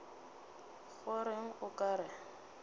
go reng o ka re